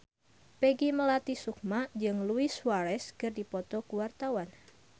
Peggy Melati Sukma jeung Luis Suarez keur dipoto ku wartawan